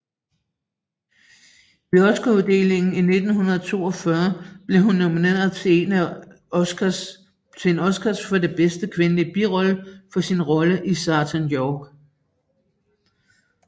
Ved Oscaruddelingen i 1942 blev hun nomineret til en Oscar for bedste kvindelige birolle for sin rolle i Sergent York